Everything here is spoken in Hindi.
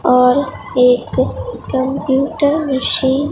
और एक कंप्यूटर मशीन ।